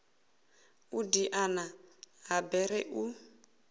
u diana ha bere u